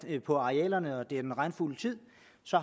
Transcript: på arealerne i den regnfulde tid